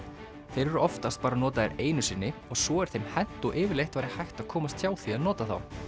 þeir eru oftast bara notaðir einu sinni og svo er þeim hent og yfirleitt væri hægt að komast hjá því að nota þá